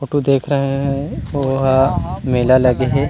Photo देख रहे हय अउ वो ह मेला लगे हे।